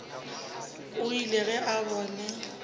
o ile ge a bona